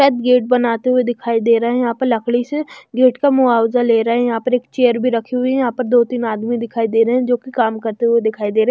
शायद गेट बनाते हुए दिखाई दे रहे हैं यहां पर लकड़ी से गेट का मुआवजा ले रहे हैं यहां पर एक चेयर भी रखी हुई है यहां पर दो तीन आदमी दिखाई दे रहे हैं जो कि काम करते हुए दिखाई दे रहे--